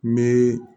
N bɛ